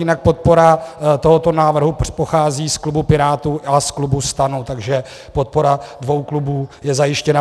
Jinak podpora tohoto návrhu pochází z klubu Pirátů a z klubu STAN, takže podpora dvou klubů je zajištěna.